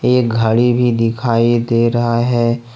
एक घड़ी भी दिखाई दे रहा है।